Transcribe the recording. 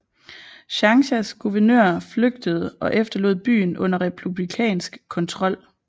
Changshas guvernør flygtede og efterlod byen under republikansk kontrol